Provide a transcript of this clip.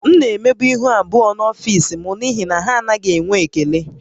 M na-emebu ihu abụọ n’ọfịs m n’ihi na ha anaghị enwe ekele